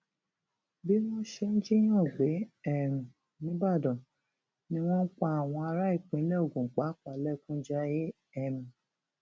bí wọn ṣe ń jiyàn gbé um nìbàdàn ni wọn ń pa àwọn ará ìpínlẹ ogun pàápàá lẹkún jayé um